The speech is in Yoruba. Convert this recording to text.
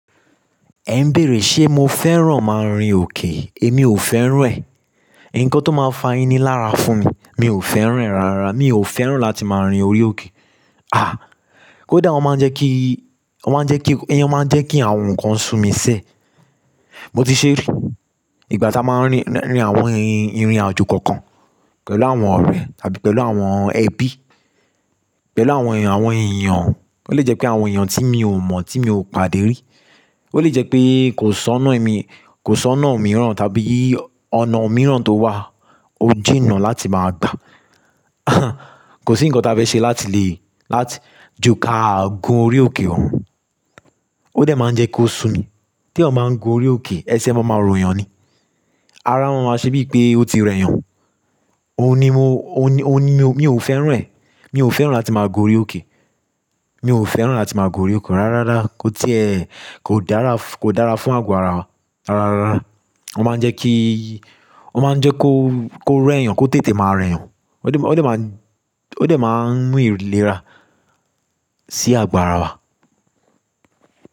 Ẹ ń bèèrè ṣé mo fẹ́ràn máa rin òkè? Èmi ò fẹ́ràn rẹ̀. Nnkan tó máa ń fa ini lára fún mi, mi ò fẹ́ràn rẹ̀ rárá. Mi ò fẹ́ràn láti máa rin orí òkè. Ah! Koda, o máa ń jẹ́ kí, o máa ń jẹ́ kí, ẹni yẹn máa ń jẹ́ kí àwọn nǹkan sú mi sẹ́. Mo ti ṣerí ìgbà tí a máa ń rí, rín àwọn irinàjò kankan pẹ̀lú àwọn ọ̀rẹ́ tàbí pẹ̀lú àwọn ẹbí, pẹ̀lú àwọn èèyàn, àwọn èèyàn, ó lè jẹ́ pé àwọn èèyàn tí mi ò mọ̀, tí mi ò pàdé rí. Ó lè jẹ́ pé kò sọ́nà ẹ̀ mi, kò sọ́nà òmíràn tàbí ọ̀nà òmíràn tó wà, ó jìnnà láti máa gbà. Kò sí nǹkan tó fẹ́ ṣe láti lè, láti ju kà gun orí òkè oun Ó dẹ̀ máa ń jẹ́ kó sùn mi. Tí eeyan ba ń gun orí òkè, ẹsẹ̀ máa máa ròyàn ni. Ara máa máa ṣe bíi pé ó ti rẹ̀yàn. Ó ní mo, ó ní, ó ní mo, mi ò fẹ́ràn rẹ̀. Mi ò fẹ́ràn láti máa gun orí òkè. Mi ò fẹ́ràn láti máa gun orí òkè rárára. Kò ti ẹ̀, kò dára, kò dára fún àgbàrá wa rárára. Ó máa ń jẹ́ kí, ó máa ń jẹ́ kó, kó rẹ̀yàn, kó tètè máa rẹ̀yàn. Ó dẹ̀, ó dẹ̀ máa ń, ó dẹ̀ máa ń mú ìlera sí àgbàrá wa.